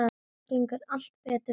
Það gengur allt betur þannig.